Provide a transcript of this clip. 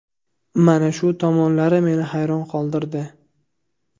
Mana shu tomonlari meni hayron qoldirdi.